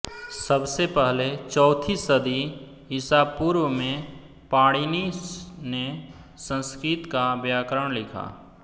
सबसे पहले चौथी शदी ईसा पूर्व में पाणिनि ने संस्कृत का व्याकरण लिखा